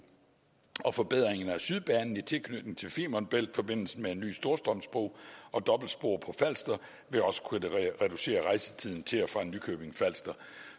og forbedringen af sydbanen i tilknytning til femern bælt forbindelsen med en ny storstrømsbro og dobbeltspor på falster vil også kunne reducere rejsetiden til og fra nykøbing falster